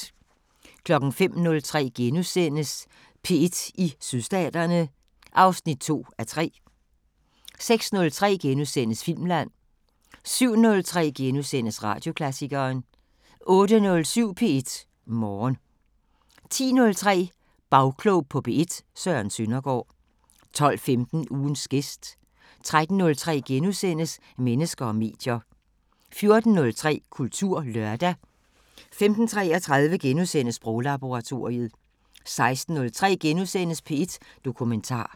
05:03: P1 i Sydstaterne (2:3)* 06:03: Filmland * 07:03: Radioklassikeren * 08:07: P1 Morgen 10:03: Bagklog på P1: Søren Søndergaard 12:15: Ugens gæst 13:03: Mennesker og medier * 14:03: Kulturlørdag 15:33: Sproglaboratoriet * 16:03: P1 Dokumentar *